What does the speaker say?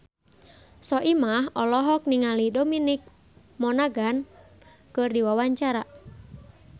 Soimah olohok ningali Dominic Monaghan keur diwawancara